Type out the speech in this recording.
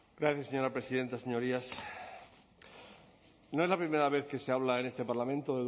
gracias señora presidenta señorías no es la primera vez que se habla en este parlamento